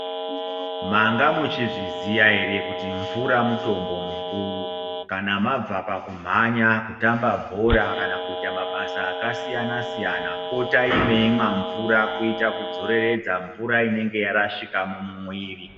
Manga muchizviziya ere kuti mvura mutombo mukuru. Kana mabva pakumhanya, kutamba bhora kana kuita mabasa akasiyana siyanai potato meimwa mvura kuita kudzoreredza mvura inenge yarashika mumuwiri.